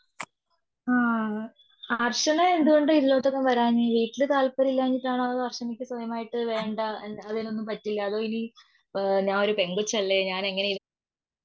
ആ അർച്ചന എന്തുകൊണ്ട ഇതിലൊട്ടൊന്നും വരാഞ്ഞേ. വീട്ടില് താല്പര്യമില്ലാഞ്ഞിട്ടാണോ അർച്ചനയ്ക്ക് സ്വയമായിട്ട് വേണ്ടന്ന് അതിനൊന്നും പറ്റില അതോ ഇനി ഏ ഞാൻ ഒരു പെങ്കോച്ചല്ലേ ഞാൻ എങ്ങനെയാ